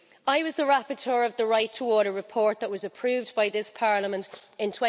I was the rapporteur of the Right to Water Report that was approved by this Parliament in